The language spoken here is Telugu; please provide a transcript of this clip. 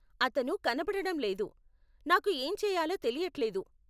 అతను కనపడడం లేదు, నాకు ఏం చెయ్యాలో తెలియట్లేదు.